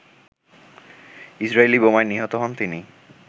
Israeli বোমায় নিহত হন তিনি